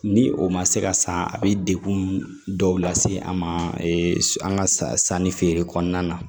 Ni o ma se ka san a bɛ degun dɔw lase an ma an ka sanni feere kɔnɔna na